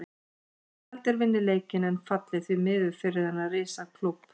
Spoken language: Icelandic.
Ég held að þeir vinni leikinn en falli, því miður fyrir þennan risa klúbb.